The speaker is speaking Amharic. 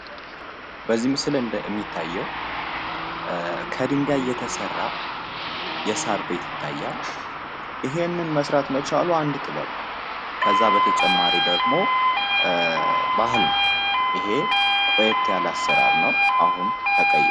ምስል እንደሚታየው ከድንጋይ የተሰራ የሳር ቤት ይታያል ይሄንን መስራት መቻሉ አንድ ጥበብ ነው ! በተጨማሪ ደግሞ ባህል ነው ቆይት ያለ አሰራር ነው።